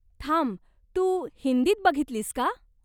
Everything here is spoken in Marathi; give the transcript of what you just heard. थांब, तू हिंदीत बघितलीस का?